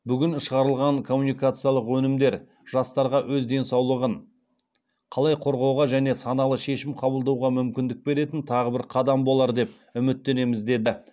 бүгін шығарылған коммуникациялық өнімдер жастарға өз денсаулығын қалай қорғауға және саналы шешім қабылдауға мүмкіндік беретін тағы бір қадам болар деп үміттенеміз деді